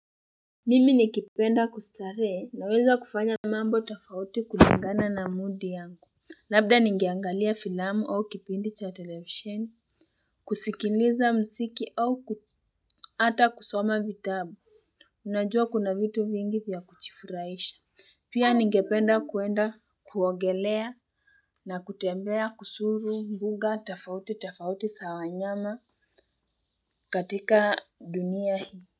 Mimi nikipenda kustarehe, naweza kufanya mambo tofauti kulingana na moodi yangu. Labda ningeangalia filamu au kipindi cha televisheni. Kusikiliza mziki au hata kusoma vitabu. Najua kuna vitu vingi vya kujifuraisha. Pia ningependa kuenda kuogelea na kutembea kuzuru mbuga tofauti tofauti za wanyama katika dunia hii.